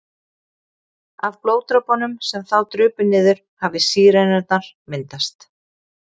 Af blóðdropunum sem þá drupu niður hafi sírenurnar myndast.